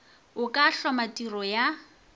o ka hloma tiro ya